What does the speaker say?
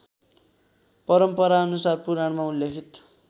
परम्पराअनुसार पुराणमा उल्लेखित